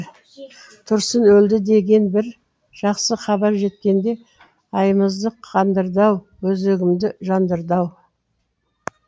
тұрсын өлді деген бір жақсы хабар жеткенде айымызды қандырды ау өзегімді жандырды ау